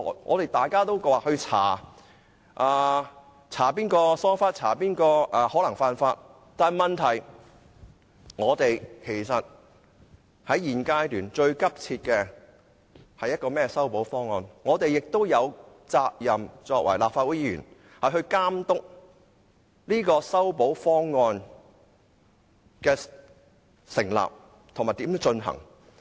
我們都說要調查誰疏忽或誰可能犯法，但是，其實現階段最急切的是修補方案，我們作為立法會議員亦有責任監督這個修補方案的擬定，以及如何實行。